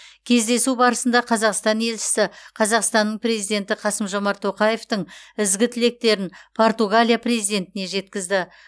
кездесу барысында қазақстан елшісі қазақстанның президенті қасым жомарт тоқаевтың ізгі тілектерін португалия президентіне жеткізді